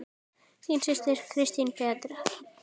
Þín systir, Kristín Berta.